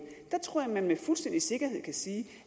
her tror jeg man med fuldstændig sikkerhed kan sige